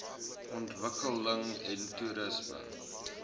ontwikkeling en toerisme